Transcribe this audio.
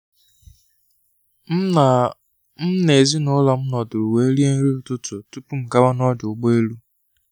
M na M na ezinụlọ m nọdụrụ wee rie nri ụtụtụ tupu m gawa ọdụ ụgbọ elu.